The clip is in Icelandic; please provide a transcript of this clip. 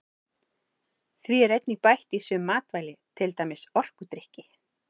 Því er einnig bætt í sum matvæli til dæmis orkudrykki.